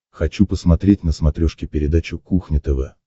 хочу посмотреть на смотрешке передачу кухня тв